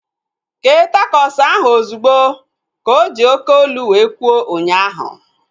Kee takos ahu ozugbo! Ka oji oké olu wee kwuo ụnyaahụ